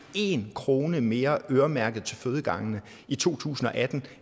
én krone mere øremærket til fødegangene i to tusind og atten